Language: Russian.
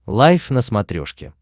лайф на смотрешке